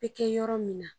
Bɛ kɛ yɔrɔ min na